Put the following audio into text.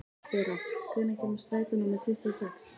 Bera, hvenær kemur strætó númer tuttugu og sex?